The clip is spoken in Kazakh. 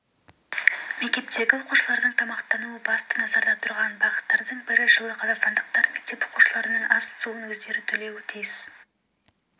мектептегі оқушылардың тамақтануы басты назарда тұрған бағыттардың бірі жылы қазақстандықтар мектеп оқушыларының ас-суын өздері төлеуі тиіс